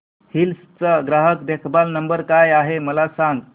hills चा ग्राहक देखभाल नंबर काय आहे मला सांग